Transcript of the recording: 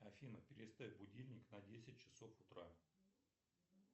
афина переставь будильник на десять часов утра